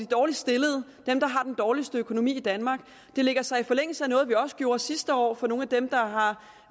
dårligst stillede dem der har den dårligste økonomi i danmark det lægger sig i forlængelse af noget vi også gjorde sidste år for nogle af dem der har